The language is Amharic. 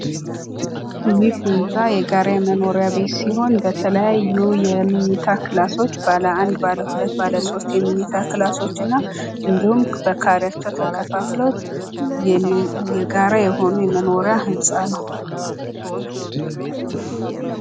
ይህ ህንጻ የጋራ መኖሪያ ቤት ሲሆን በተለያዩ የመኝታ ክላሶች ባለአንድ፣ ባለሁለት፣ ባለሶስት የመኝታ ካልሶች እና እንዲሁም በካሬ ተከፍሎ የጋራ የሆነ የመኖሪያ ህንጻ ነው።